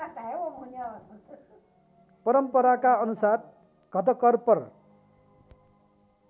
परम्पराका अनुसार घटकर्पर